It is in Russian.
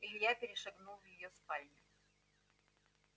илья перешагнул в её спальню